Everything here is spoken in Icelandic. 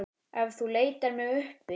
Ef þú leitar mig uppi.